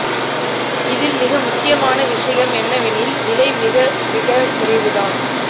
இதில் மிக முக்கியமான விஷயம் என்னவெனில் விலை மிக மிக குறைவு தான்